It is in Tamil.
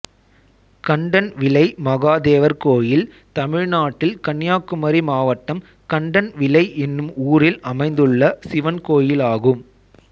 கண்டன்விளை மகாதேவர் கோயில் தமிழ்நாட்டில் கன்னியாகுமரி மாவட்டம் கண்டன்விளை என்னும் ஊரில் அமைந்துள்ள சிவன் கோயிலாகும்